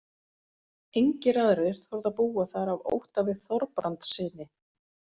Engir aðrir þorðu að búa þar af ótta við Þorbrandssyni.